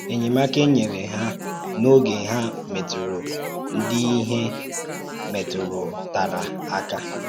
Ényèmáka e nyere ha n’ógè hà mètùrù ǹdí íhè mètùrùtàrà aka.